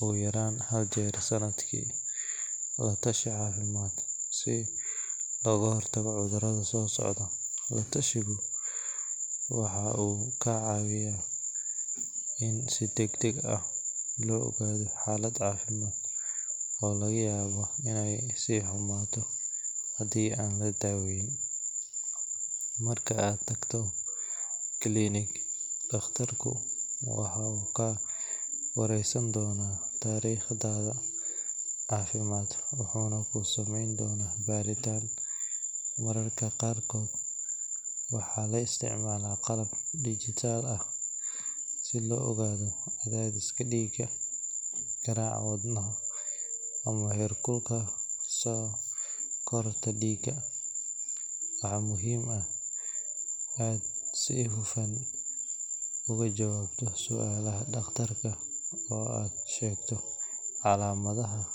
oogu yaraan hal mar sanadki, wuxuu ka cawiya in si dagdag ah looga hor tago xaalad cafimaad, wuxuu ka wareesan doona cafimaadkaga, waxaa la isticmaala qalab, heer kulka diiga, waxaa muhiim ah inaad si hufan ooga jawaabto sualaha daqtarka.